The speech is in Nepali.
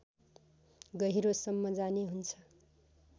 गहिरोसम्म जाने हुन्छ